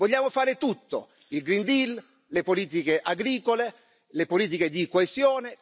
Vogliamo fare tutto il green deal le politiche agricole, le politiche di coesione.